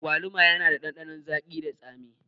Agwaluma yana da ɗanɗanon zagi da tsami